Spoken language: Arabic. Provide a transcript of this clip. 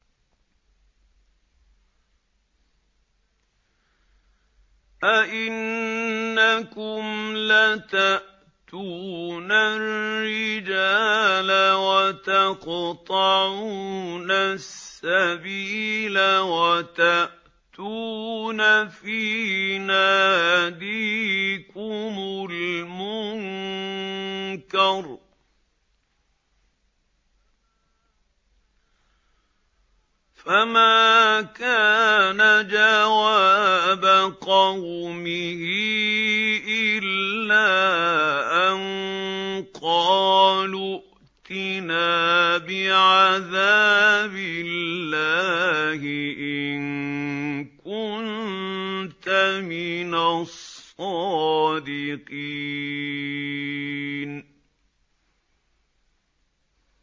أَئِنَّكُمْ لَتَأْتُونَ الرِّجَالَ وَتَقْطَعُونَ السَّبِيلَ وَتَأْتُونَ فِي نَادِيكُمُ الْمُنكَرَ ۖ فَمَا كَانَ جَوَابَ قَوْمِهِ إِلَّا أَن قَالُوا ائْتِنَا بِعَذَابِ اللَّهِ إِن كُنتَ مِنَ الصَّادِقِينَ